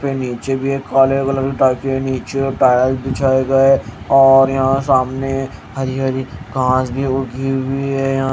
यां पे नीचे भी एक हॉल है अलग-अलग टाइप के नीचे और टाइल बिछाए गए हैं और यहां सामने हरी हरी घास भी उगी हुई है यहाँ--